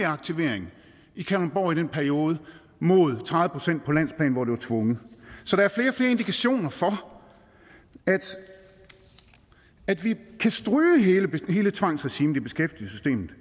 aktivering i kalundborg i den periode mod tredive procent på landsplan hvor det var tvunget så der er flere indikationer af at vi kan stryge hele tvangsregimet i beskæftigelsessystemet